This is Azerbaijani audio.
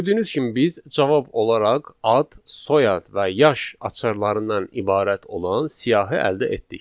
Gördüyünüz kimi biz cavab olaraq ad, soyad və yaş açarlarından ibarət olan siyahı əldə etdik.